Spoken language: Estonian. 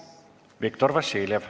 Viktor Vassiljev.